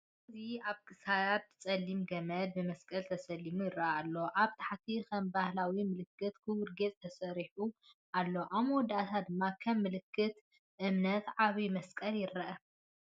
እዚ ኣብ ክሳድ ጸሊም ገመድ ብመስቀል ተሰሊሙ ይረአ ኣሎ። ኣብ ታሕቲ ከም ባህላዊ ምልክት ክቡብ ጌጽ ተሰሪዑ ኣሎ፡ ኣብ መወዳእታ ድማ ከም ምልክት እምነት ዓቢ መስቀል ይረአ።